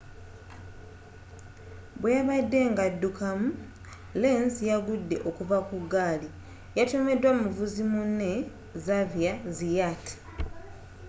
bweyabadde nga addukamu lenz yagudde okuva ku ggaali yatomeddwa muvuzi munne xavier zayat